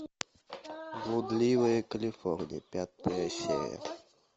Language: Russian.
блудливая калифорния пятая серия